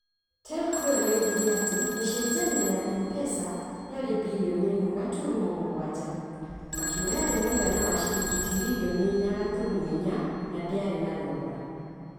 Telco ĩyo yoigire atĩ mĩcinjanio ya M-Pesa yarĩ birioni ĩmwe gaturumo mũgwanja .Makiuga yarĩ mũigana wa ciringi tiririoni inya gaturumo inya na ndĩarĩ na thogora.